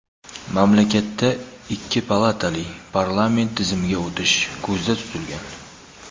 mamlakatda ikki palatali parlament tizimiga o‘tish ko‘zda tutilgan.